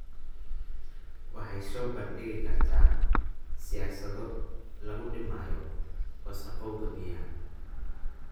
Waxay soo bandhigi kartaa siyaasado lagu dhimayo wasakhowga biyaha.